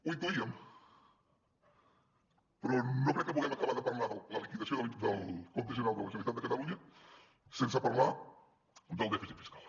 ho intuíem però no crec que puguem acabar de parlar de la liquidació del compte general de la generalitat de catalunya sense parlar del dèficit fiscal